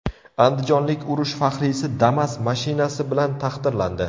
Andijonlik urush faxriysi Damas mashinasi bilan taqdirlandi.